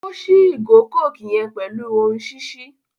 O ṣi igo coke yen pẹlu ohùn ṣiṣi